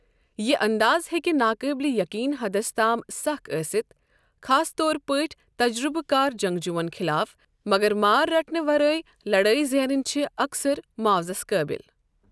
یہِ اَنداز ہیکہِ ناقٲبلِہ یٔقیٖن حدس تام سَکھ ٲسِتھ، خاص طور پٲٹھی تجرُبہٕ کار جَنٛگجوٗوَن خٕلاف مگر مار رٹنہٕ ورٲیۍ لڑٲیۍ زینٕنۍ چھُ اکثر معاوضَس قٲبِل۔